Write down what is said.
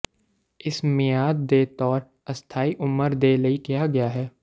ਇਸ ਮਿਆਦ ਦੇ ਤੌਰ ਅਸਥਾਈ ਉਮਰ ਦੇ ਲਈ ਕਿਹਾ ਗਿਆ ਹੈ